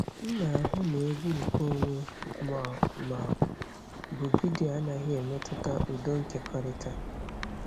M na-ahụ na egwu nkeonwe ma ọ ma ọ bụ vidiyo anaghị emetụta udo nkekọrịta.